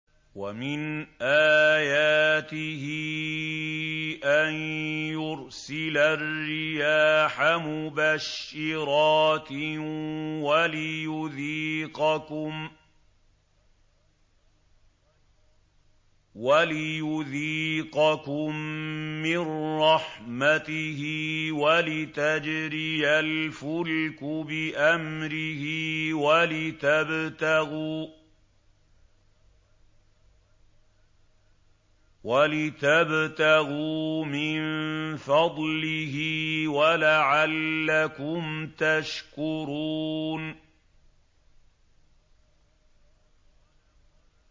وَمِنْ آيَاتِهِ أَن يُرْسِلَ الرِّيَاحَ مُبَشِّرَاتٍ وَلِيُذِيقَكُم مِّن رَّحْمَتِهِ وَلِتَجْرِيَ الْفُلْكُ بِأَمْرِهِ وَلِتَبْتَغُوا مِن فَضْلِهِ وَلَعَلَّكُمْ تَشْكُرُونَ